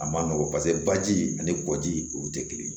A ma nɔgɔ paseke baji ani kɔji olu tɛ kelen ye